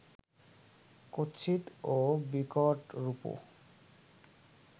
কুৎসিত ও বিকট রূপও